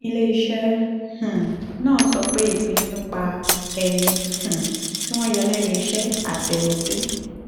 ilé iṣẹ́ um náà sọ pé ìpinnu nípa ẹni um tí wọ́n yọ lẹ́nu iṣẹ́ àti ẹni tí